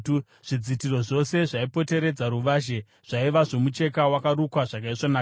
Zvidzitiro zvose zvaipoteredza ruvazhe zvaiva zvomucheka wakarukwa zvakaisvonaka.